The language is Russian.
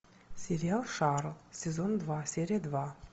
сериал шаро сезон два серия два